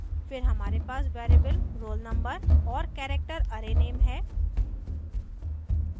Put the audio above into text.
फिर हमारे पास वेरिएबल roll_no और character array नेम है